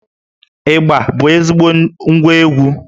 Ịgbà bụ ezigbo ngwá egwú